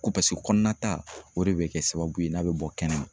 Ko paseke kɔnɔnata o de bɛ kɛ sababu ye n'a bɛ bɔ kɛnɛma